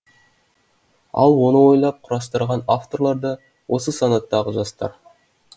ал оны ойлап құрастырған авторлар да осы санаттағы жастар